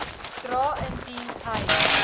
dra indien hy